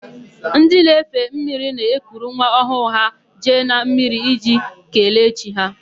Ndị na-efe mmiri na-ekuru nwa ọhụụ ha jee na mmiri iji kelee chi ha.